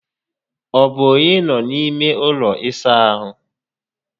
Ọ bụ onye nọ n'ime ụlọ ịsa ahụ?